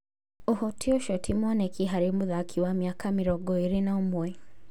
ũhoti ũcio ti mwoneki harĩ mũthaki wa mĩaka mĩrongo ĩrĩ na ũmwe.